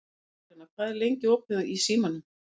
Magðalena, hvað er lengi opið í Símanum?